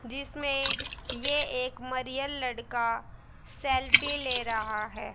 जिसमें ये एक मरियल लड़का सेल्फी ले रहा है।